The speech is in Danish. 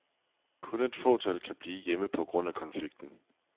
Kun et fåtal kan blive hjemme på grund af konflikten.